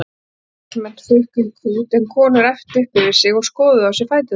Karlmenn hrukku í kút en konur æptu upp yfir sig og skoðuðu á sér fæturna.